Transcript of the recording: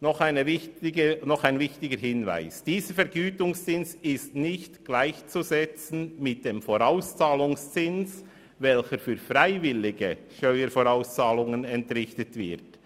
Noch ein wichtiger Hinweis: Dieser Vergütungszins ist nicht mit dem Vorauszahlungszins gleichzusetzen, welcher für freiwillige Steuervorauszahlungen entrichtet wird.